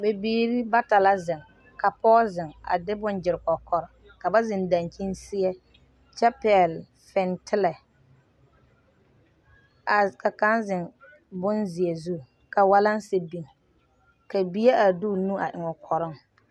Bibiiri bata la zeŋ ka pɔge zeŋ a de bonne a gyire kɔkɔre ka zeŋ dankyini seɛ kyɛ pɛgle fintelɛ a ka kaŋ zeŋ bonzeɛ zu ka waalansi biŋ ka bie a de o nu a eŋ o kɔrɔŋ.